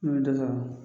N bɛ dɔ sɔrɔ